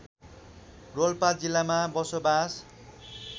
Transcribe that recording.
रोल्पा जिल्लामा बसोबास